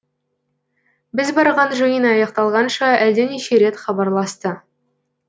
біз барған жиын аяқталғанша әлденеше рет хабарласты